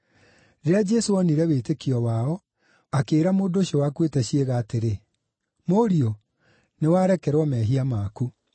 Rĩrĩa Jesũ oonire wĩtĩkio wao, akĩĩra mũndũ ũcio wakuĩte ciĩga atĩrĩ, “Mũriũ, nĩwarekerwo mehia maku.”